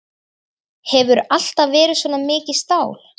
Hefurðu alltaf verið svona mikið stál?